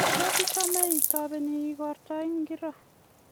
tos ichame itopeni igorta ngiro